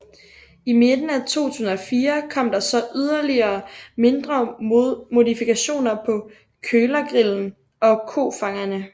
I midten af 2004 kom der så yderligere mindre modifikationer på kølergrillen og kofangerne